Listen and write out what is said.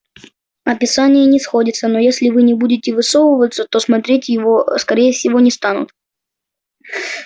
описание не сходится но если вы не будете высовываться то смотреть его ээ скорее всего не станут